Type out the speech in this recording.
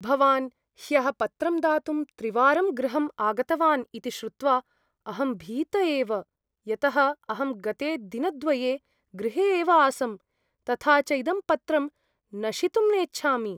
भवान् ह्यः पत्रं दातुं त्रिवारं गृहम् आगतवान् इति श्रुत्वा अहं भीत एव, यतः अहं गते दिनद्वये गृहे एव आसम्, तथा च इदं पत्रं नशितुं नेच्छामि।